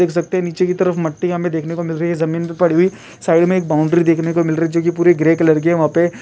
देख सकते है निचे की तरफ मिठी देखने को मिल रही है जमीन पर पड़ी हुई साइड में एक बॉउंड्री देखने मिल रही है जो पुर ग्रे कलर की है वहां पे --